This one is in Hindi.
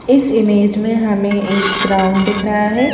इस इमेज में हमें एक ग्राउंड दिख रहा है।